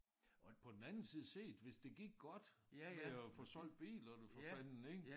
Og på den anden side set hvis det gik godt med at få solgt bilerne for fanden ik